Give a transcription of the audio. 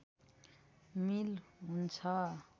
मिल हुन्छ